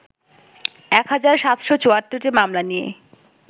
১ হাজার ৭৭৪টি মামলা নিয়ে